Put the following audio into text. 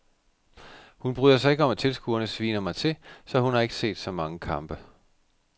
Hun bryder sig ikke om at tilskuerne sviner mig til, så hun har ikke set så mange kampe.